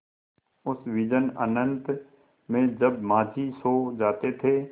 उस विजन अनंत में जब माँझी सो जाते थे